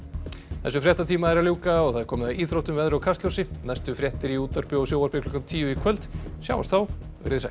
þessum fréttatíma er að ljúka og það er komið að íþróttum veðri og kastljósi næstu fréttir í útvarpi og sjónvarpi klukkan tíu í kvöld sjáumst þá veriði sæl